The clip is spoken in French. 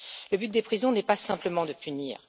Le but des prisons n'est pas simplement de punir.